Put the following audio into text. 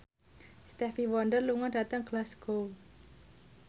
Stevie Wonder lunga dhateng Glasgow